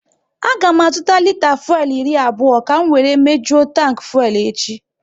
A ga m azụta lita fuelu iri abụọ ka m wéré mejuo tanki fuelu echi